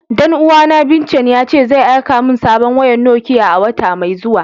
Dan uwa na Vincent, ya ce zai aika mun sabon wayan Nokiya a'wata mai zuwa.